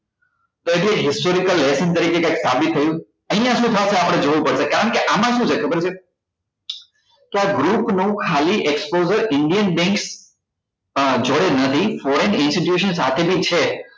તો historical તરીકે સાબિત થયું અહિયાં શું થશે આપડે જોવું પડશે કારણ કે આમાં શું છે ખબર છે કે આ group નું exposure ખાલી indian banks જોડે નથી અ foreign institution સાથે બી છે